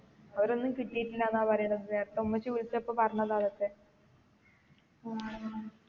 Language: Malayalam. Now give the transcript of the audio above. അവരൊന്നും കിട്ടിയിട്ടില്ലന്ന പറയാണത്. ഉമ്മച്ചി വിളിച്ചപ്പോൾ പറഞ്ഞതതൊക്കെ.